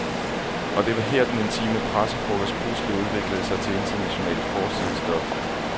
Og det var her, den intime pressefrokost pludselig udviklede sig til internationalt forsidestof.